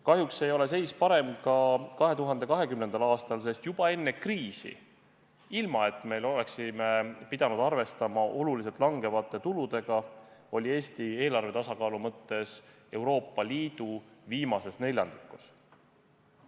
Kahjuks ei ole seis parem ka 2020. aastal, sest juba enne kriisi – ilma et me oleksime pidanud arvestama oluliselt langevate tuludega – oli Eesti eelarve tasakaalu mõttes Euroopa Liidu viimases neljandikus.